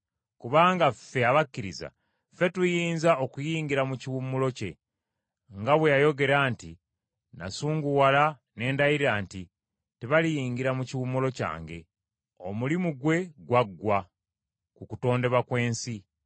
Kubanga ffe abakkiriza, ffe tuyinza okuyingira mu kiwummulo kye, nga bwe yayogera nti, “Kyennava ndayira nga nsunguwadde nti, ‘Tebaliyingira mu kiwummulo kyange.’ ” Omulimu gwe gwaggwa ku kutondebwa kw’ensi.